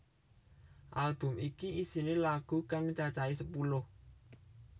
Album iki isiné lagu kang cacahé sepuluh